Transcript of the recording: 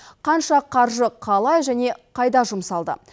қанша қаржы қалай және қайда жұмсалды